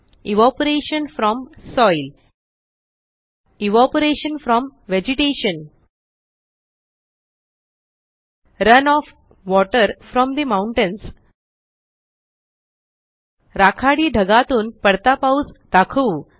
evaporation from soil evaporation from vegetation run off water from the mountains राखाडी ढगातून पडता पाऊस दाखवू